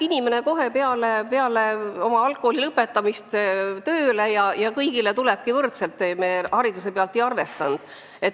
Inimene läheb kohe peale põhikooli lõpetamist tööle ja hakkab saama pensioni kõigiga võrdselt.